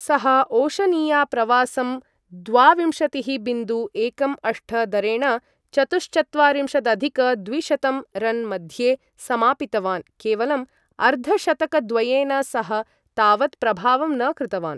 सः ओशनिया प्रवासं द्वाविंशतिः बिन्दु एकं अष्ट दरेण चतुश्चत्वारिंशदधिक द्विशतं रन् मध्ये समापितवान्, केवलं अर्धशतकद्वयेन सह, तावत् प्रभावं न कृतवान्।